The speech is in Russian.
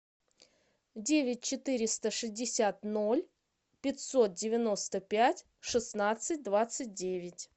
девять четыреста шестьдесят ноль пятьсот девяносто пять шестнадцать двадцать девять